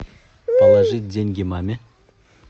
положить деньги маме